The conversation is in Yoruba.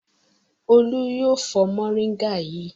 Olú yóò fọ mòríngà yìí!